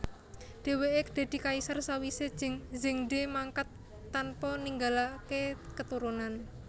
Dheweke dadi kaisar sawise Zhengde mangkat tanpa ninggalake katurunan